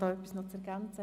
– Es melden sich keine.